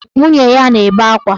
Nwunye ya na-ebe akwa.